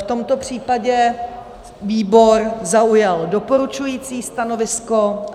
V tomto případě výbor zaujal doporučující stanovisko.